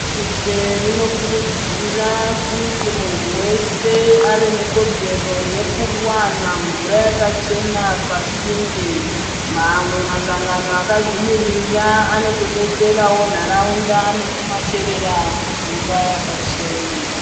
Bese rinokurudzira kuti muntu wese ave nekodzero yekuwana mvura yakachena pasinde mamwe masangano akazvimirira akotodetsera nharaunda nekumacherera mvura yakachena.